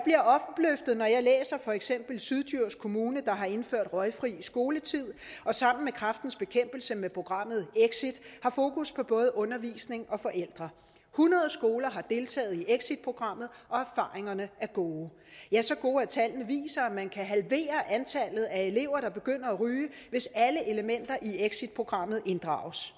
for eksempel syddjurs kommune har indført røgfri skoletid og sammen med kræftens bekæmpelse med programmet exit har fokus på både undervisning og forældre hundrede skoler har deltaget i exitprogrammet og erfaringerne er gode ja så gode at tallene viser at man kan halvere antallet af elever der begynder at ryge hvis alle elementer i exitprogrammet inddrages